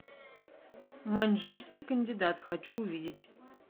маньчжурский кандидат хочу увидеть